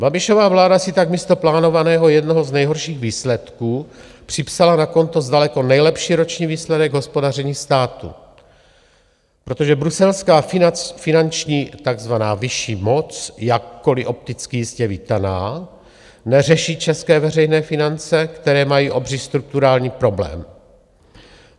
Babišova vláda si tak místo plánovaného jednoho z nejhorších výsledků připsala na konto daleko nejlepší roční výsledek hospodaření státu, protože bruselská finanční, takzvaná vyšší moc - jakkoliv opticky jistě vítaná - neřeší české veřejné finance, které mají obří strukturální problém.